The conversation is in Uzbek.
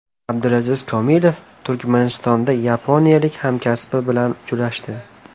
Abdulaziz Komilov Turkmanistonda yaponiyalik hamkasbi bilan uchrashdi.